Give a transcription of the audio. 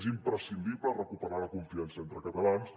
és imprescindible recuperar la confiança entre catalans